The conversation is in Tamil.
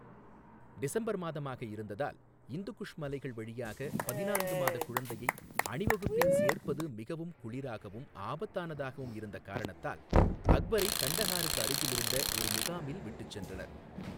டிசம்பர் மாதமாக இருந்ததால், இந்து குஷ் மலைகள் வழியாக பதினான்கு மாத குழந்தையை அணிவகுப்பில் சேர்ப்பது மிகவும் குளிராகவும் ஆபத்தானதாகவும் இருந்த காரணத்தால் அக்பரைக் கண்டஹாருக்கு அருகில் இருந்த ஒரு முகாமில் விட்டுச் சென்றனர்.